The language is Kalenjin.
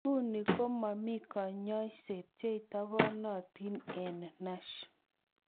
Nguni, komomi konyoisosiek cheitobonotin en NASH.